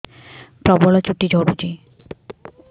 ପ୍ରବଳ ଚୁଟି ଝଡୁଛି